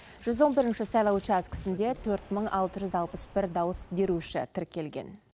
жүз он бірінші сайлау учаскісінде төрт мың алты жүз алпыс бір дауыс беруші тіркелген